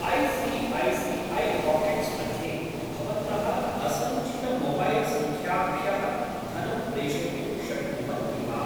I C I C I pockets मध्ये भवन्तः असञ्चितमोबैल्सङ्ख्याभ्यः धनं प्रेषयितुं शक्नुवन्ति वा?